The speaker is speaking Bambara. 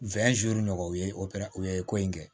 nɔgɔ o ye opere u ye ko in kɛ